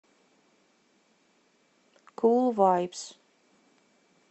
кул вайбс